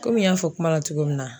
Komi n y'a fɔ kuma na cogo min na